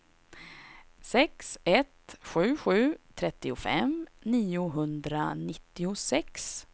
sex ett sju sju trettiofem niohundranittiosex